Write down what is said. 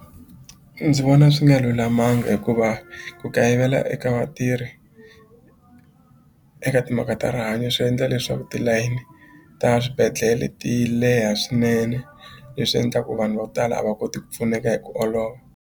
Ndzi vona swi nga lulamanga hikuva ku kayivela eka vatirhi eka timhaka ta rihanyo swi endla leswaku tilayini ta swibedhlele ti leha swinene leswi endla ku vanhu va ku tala a va koti ku pfuneka hi ku olova.